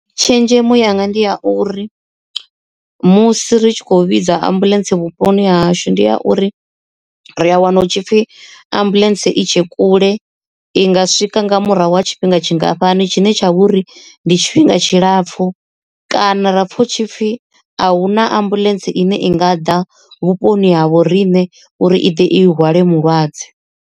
Tshenzhemo yanga ndi a uri musi ri tshi khou vhidza ambuḽentse vhuponi ha hashu ndi ya uri ri a wana hu tshipfhi ambuḽentse i tshe kule i nga swika nga murahu wa tshifhinga tshingafhani tshine tsha vhori ndi tshifhinga tshilapfhu kana rapfha hu tshipfi ahuna ambuḽentse ine i nga ḓa vhuponi ha vho riṋe uri i ḓe i hwale mulwadze.